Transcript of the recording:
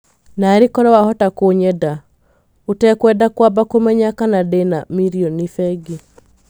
Narĩ korwo wahota kũnyenda, ũtekwenda kwamba kũmenya kana ndĩna mirioni bengi.